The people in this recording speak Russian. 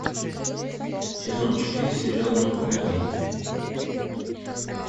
сезон четыре сериал ну погоди